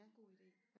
God ide